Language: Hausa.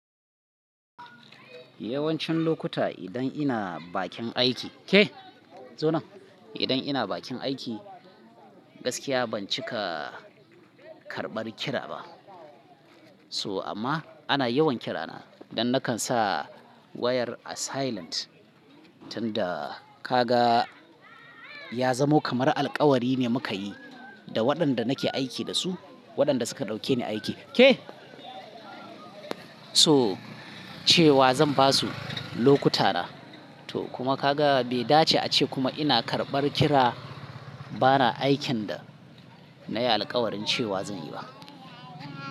Yawancin lokuta idan ina bakin aiki, ke zo nan, idan ina bakin aiki gaskiya ban cika karɓar kira ba. So amma ana yawan kira na dan nakan sa wayar a silent tun da kaga ya zamo kamar alkawari ne muka yi da waɗanda nake aiki da su, waɗanda suka ɗauke ni aiki. Ke so cewa zan basu lokuta na. To kuma kaga bai dace ace kuma ina karɓar kira ba na aikin da na yi alkawarin cewa zan yi ba.